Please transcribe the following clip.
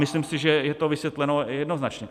Myslím si, že je to vysvětleno jednoznačně.